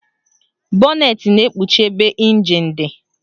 Bọnetị na-ekpuchi ebe ịnjin dị